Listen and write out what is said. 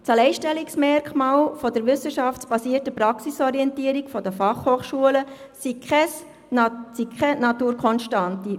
Das Alleinstellungsmerkmal der wissenschaftsbasierten Praxisorientierung der FH sei keine Naturkonstante.